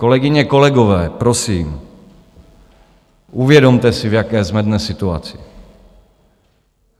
Kolegyně, kolegové, prosím, uvědomte si, v jaké jsme dnes situaci.